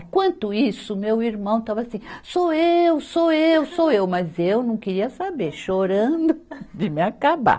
Enquanto isso, meu irmão estava assim, sou eu, sou eu, sou eu, mas eu não queria saber, chorando de me acabar.